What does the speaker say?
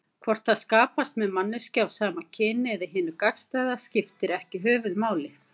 Hvort það skapast með manneskju af sama kyni eða hinu gagnstæða skiptir ekki höfuðmáli.